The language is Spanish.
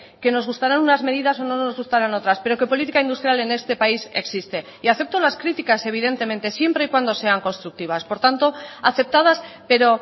que nos gustarán unas medidas o no nos gustaran otras pero que política industrial en este país existe y acepto las críticas evidentemente siempre y cuando sean constructivas por tanto aceptadas pero